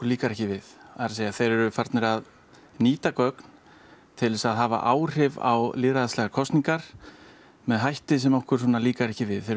líkar ekki við það er að segja þeir eru farnir að nýta gögn til að hafa áhrif á lýðræðislegar kosningar með hætti sem okkur líkar ekki við þeir